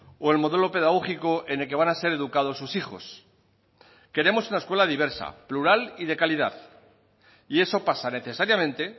o el modelo pedagógico en el que van a ser educados sus hijos queremos una escuela diversa plural y de calidad y eso pasa necesariamente